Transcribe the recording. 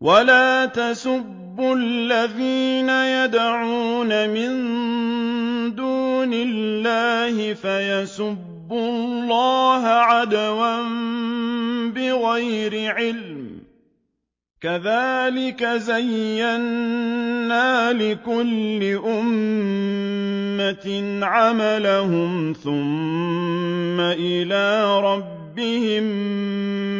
وَلَا تَسُبُّوا الَّذِينَ يَدْعُونَ مِن دُونِ اللَّهِ فَيَسُبُّوا اللَّهَ عَدْوًا بِغَيْرِ عِلْمٍ ۗ كَذَٰلِكَ زَيَّنَّا لِكُلِّ أُمَّةٍ عَمَلَهُمْ ثُمَّ إِلَىٰ رَبِّهِم